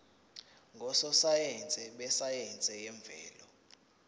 ngososayense besayense yemvelo